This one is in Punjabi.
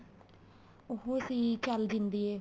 ਉਹ ਸੀ ਚੱਲ ਜਿੰਦੀਏ